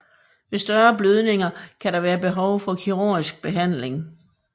Ved større blødninger kan der være behov for kirurgisk behandling